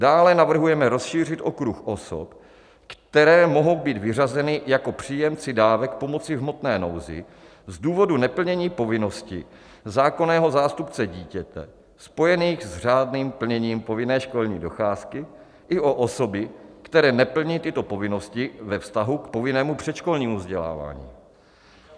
Dále navrhujeme rozšířit okruh osob, které mohou být vyřazeny jako příjemci dávek pomoci v hmotné nouzi z důvodu neplnění povinností zákonného zástupce dítěte, spojených s řádným plněním povinné školní docházky, i o osoby, které neplní tyto povinnosti ve vztahu k povinnému předškolnímu vzdělávání.